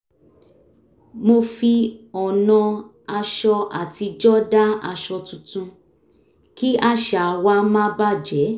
mo fi ọ̀nà aṣọ àtijọ́ dá aṣọ tuntun kí àṣà wa má bà jé